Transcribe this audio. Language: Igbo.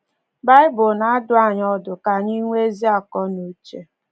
Baịbụl na-adụ anyị ọdụ ka anyị ‘nwee ezi akọ na uche.